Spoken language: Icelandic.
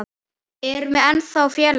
Erum við ekki ennþá félagar?